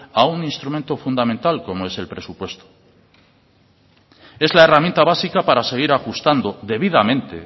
a un instrumento fundamental como es el presupuesto es la herramienta básica para seguir ajustando debidamente